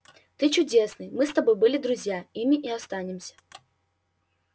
ты чудесный мы с тобой были друзья ими и останемся